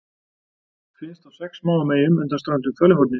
Finnst á sex smáum eyjum undan ströndum Kaliforníu.